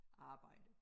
Arbejde